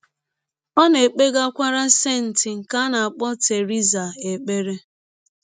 Ọ na - ekpegakwara “ senti ” nke a na - akpọ Theresa ekpere.